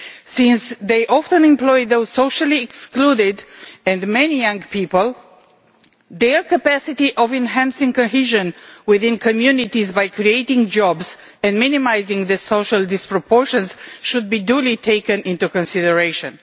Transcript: Since they often employ the socially excluded and many young people, their capacity to enhance cohesion within communities by creating jobs and minimising social inequalities should be duly taken into consideration.